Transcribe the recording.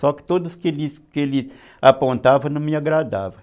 Só que todos que ele apontava não me agradavam.